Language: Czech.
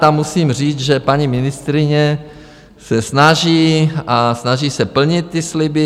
Tam musím říct, že paní ministryně se snaží, a snaží se plnit ty sliby.